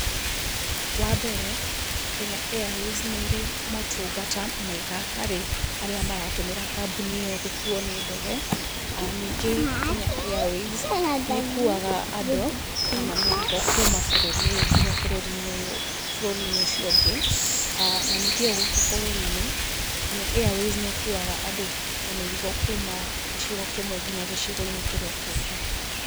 Wa mbere , Kenya Airways nĩĩrĩ motungata mega harĩ arĩa maratũmĩra kambuni ĩyo gũkuo nĩ ndege. Ningĩ Kenya Airways nĩĩkuuaga andũ, kana mĩrigo kuma bũrũri ũyũ nginya bũrũri-inĩ ũcio ũngĩ. Na ningĩ o gũkũ bũrũri-inĩ, Kenya Airways nĩĩkuaga andũ na mĩrigo kuma gĩcigo kimwe nginya gĩcigo-inĩ kĩrĩa kĩngĩ.